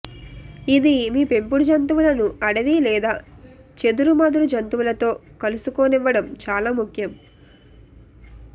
ఇది మీ పెంపుడు జంతువులను అడవి లేదా చెదురుమదురు జంతువులతో కలుసుకోనివ్వడం చాలా ముఖ్యం